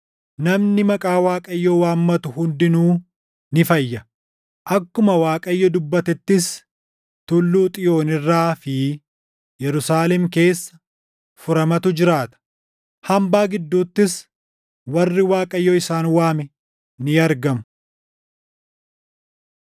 Namni maqaa Waaqayyoo waammatu hundinuu ni fayya; akkuma Waaqayyo dubbatettis Tulluu Xiyoon irraa fi Yerusaalem keessa, furamatu jiraata; hambaa gidduuttis warri Waaqayyo isaan waame ni argamu.